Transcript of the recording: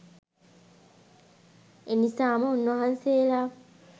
එනිසාම උන්වහන්සේලා